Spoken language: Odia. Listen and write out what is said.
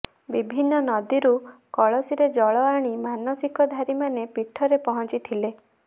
ବିଭିନ୍ନ ନଦୀରୁ କଳସିରେ ଜଳ ଆଣି ମାନସିକଧାରୀମାନେ ପୀଠରେ ପହଂଚିଥିଲେ